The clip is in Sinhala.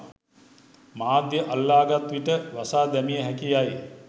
මාධ්‍ය අල්ලා ගත් විට වසා දැමිය හැකි යැයි